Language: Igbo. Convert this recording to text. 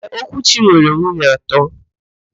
Ee, Okwuchi nwere nwunye atọ.